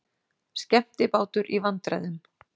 Skemmtibátur í vandræðum